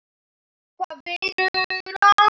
Hvar vinnur hann?